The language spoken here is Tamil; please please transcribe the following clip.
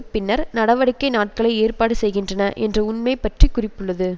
பின்னர் நடவடிக்கை நாட்களை ஏற்பாடு செய்கின்றன என்ற உண்மை பற்றி குறிப்புள்ளது